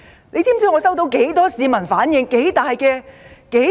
你知道有多少市民向我投訴？